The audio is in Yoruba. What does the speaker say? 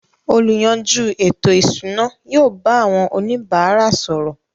“ Olùyanjú ètò-ìṣúná” yóò bá àwọn oníbàárà sọ̀rọ̀.